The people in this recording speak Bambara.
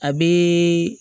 A bɛ